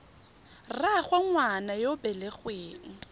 rraagwe ngwana yo o belegweng